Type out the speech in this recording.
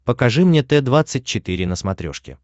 покажи мне т двадцать четыре на смотрешке